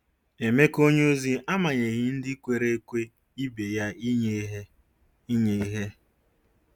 Emeka onyeozi amanyeghị ndị kwere ekwe ibe ya inye ihe. inye ihe.